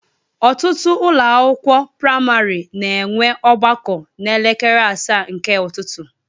Ọtụtụ ụlọ akwụkwọ praịmarị na enwe ọgbakọ na elekere asaa nke ụtụtụ